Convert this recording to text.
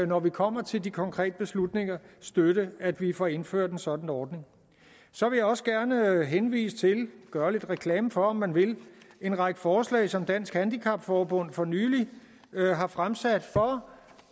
når vi kommer til de konkrete beslutninger støtte at vi får indført en sådan ordning så vil jeg også gerne henvise til gøre lidt reklame for om man vil en række forslag som dansk handicap forbund for nylig har fremsat for